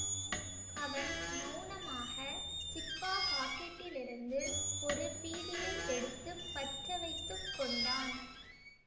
அவன் மெளனமாக ஜிப்பா பாக்கெட்டிலிருந்து ஒரு பீடியை எடுத்து பற்ற வைத்து கொண்டான்